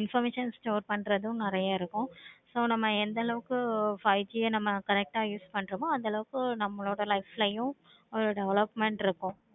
information store பண்றது அதிகமா இருக்கும். so நம்ம எந்த அளவுக்கு five G நம்ம correct ஆஹ் use பன்றோமோ அந்த அளவுக்கு நம்மளோட life ளையும் ஒரு development இருக்கும்.